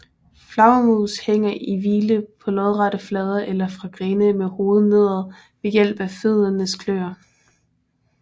Flagermus hænger i hvile på lodrette flader eller fra grene med hovedet nedad ved hjælp af føddernes kløer